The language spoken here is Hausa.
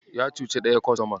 Ya cuci ɗaya kostoman.